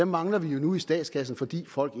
mangler vi nu i statskassen fordi folk